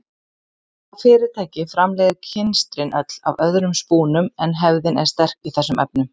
Það fyrirtæki framleiðir kynstrin öll af öðrum spúnum en hefðin er sterk í þessum efnum.